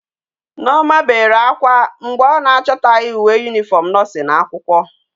Nneoma bere akwa mgbe o na achotaghi uwe uniform nursing akwukwo